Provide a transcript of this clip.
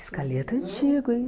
Escaleta é antigo, hein?